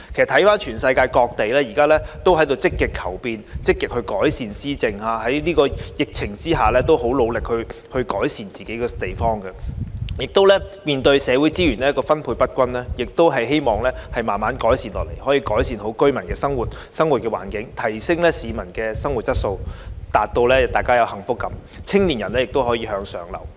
環顧世界各地都在積極求變，積極改善施政；在疫情之下，很努力改善自己的地方；面對社會資源分配不均，則希望可以逐步改善市民的生活環境，提升他們的生活質素，令他們有幸福感，青年人亦可以向上流動。